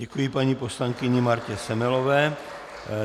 Děkuji paní poslankyni Martě Semelové.